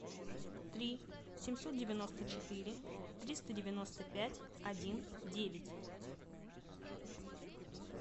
три семьсот девяносто четыре триста девяносто пять один девять